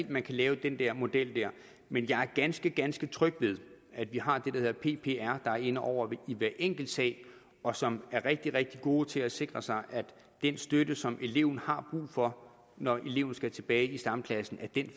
at man kan lave den der model men jeg er ganske ganske tryg ved at vi har det der hedder ppr der er inde over i hver enkelt sag og som er rigtig rigtig gode til at sikre sig at den støtte som eleven har brug for når eleven skal tilbage i stamklassen